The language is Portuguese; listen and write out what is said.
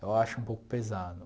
Eu acho um pouco pesado.